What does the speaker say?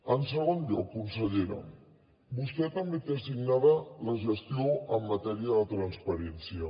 en segon lloc consellera vostè també té assignada la gestió en matèria de transparència